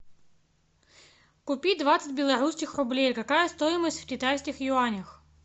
купи двадцать белорусских рублей какая стоимость в китайских юанях